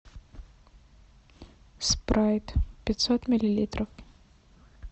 спрайт пятьсот миллилитров